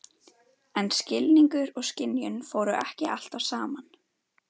En skilningur og skynjun fóru ekki alltaf saman.